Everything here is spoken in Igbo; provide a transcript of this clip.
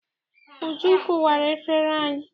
Uju kụwara efere anyị.